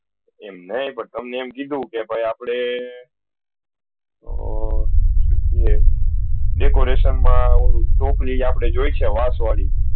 એમ નહી પર તમને એમ કીધુ કે ભાઈ આપળે આ શું હે decoration મા આવુ ટોપલી આપળે જોયીશુ વાસ વાડી